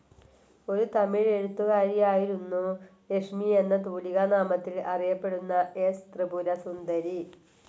ഒരു തമിഴ് എഴുത്തുകാരിയായിരുന്നു ലക്ഷ്മി എന്ന തൂലികാനാമത്തിൽ അറിയപ്പെടുന്ന എസ്. ത്രിപുരസുന്ദരി.